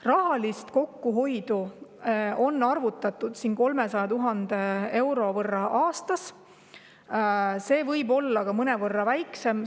Rahalise kokkuhoiu on arvutatud 300 000 eurot aastas, aga see võib olla ka mõnevõrra väiksem.